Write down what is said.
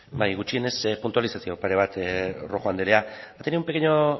bai gutxienez puntualizazio pare bat rojo anderea ha tenido un pequeño